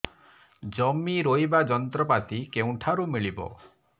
ଜମି ରୋଇବା ଯନ୍ତ୍ରପାତି କେଉଁଠାରୁ ମିଳିବ